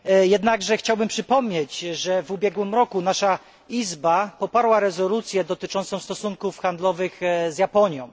Jednakże chciałbym przypomnieć, że w ubiegłym roku nasza Izba poparła rezolucję dotyczącą stosunków handlowych z Japonią.